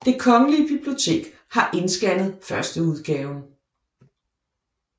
Det Kongelige Bibliotek har indskannet førsteudgaven